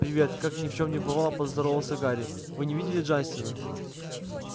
привет как ни в чем не бывало поздоровался гарри вы не видели джастина